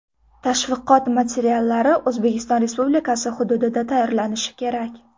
Tashviqot materiallari O‘zbekiston Respublikasi hududida tayyorlanishi kerak.